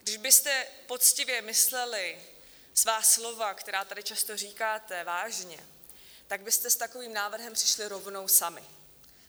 Když byste poctivě mysleli svá slova, která tady často říkáte, vážně, tak byste s takovým návrhem přišli rovnou sami.